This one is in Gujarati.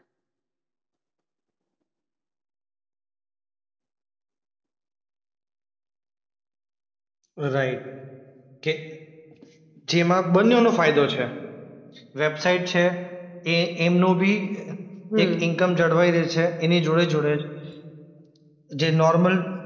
રાઈટ. કે જેમાં બંનેવનો ફાયદો છે. વેબસાઈટ છે એ એમનું બી એ એક ઈન્ક્મ જળવાઈ રહે છે એની જોડે-જોડે જ. જે નોર્મલ